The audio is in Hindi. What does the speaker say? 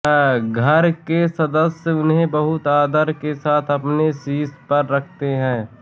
घर के सदस्य इन्हें बहुत आदर के साथ अपने शीश पर रखते हैं